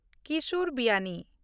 Kishore Biyani